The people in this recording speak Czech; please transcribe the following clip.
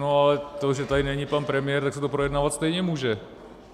No ale to, že tady není pan premiér, tak se to projednávat stejně může.